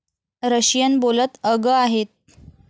Russian बोलत अगं आहेत.